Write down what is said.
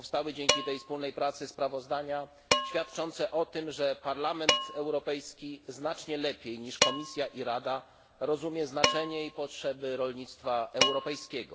Dzięki tej wspólnej pracy powstały sprawozdania świadczące o tym, że Parlament Europejski znacznie lepiej niż Komisja i Rada rozumie znaczenie i potrzeby rolnictwa europejskiego.